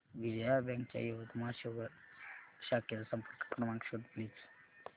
Vijaya bank च्या यवतमाळ शहर शाखेचा संपर्क क्रमांक शोध प्लीज